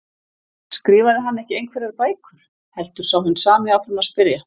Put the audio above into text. Skrifaði hann ekki einhverjar bækur? heldur sá hinn sami áfram að spyrja.